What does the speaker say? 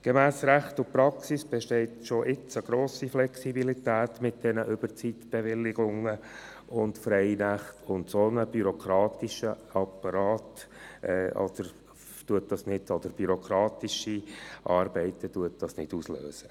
Gemäss Recht und Praxis besteht schon jetzt eine grosse Flexibilität mit den Überzeitbewilligungen und Freinächten, und einen solch bürokratischen Aufwand löst das nicht aus.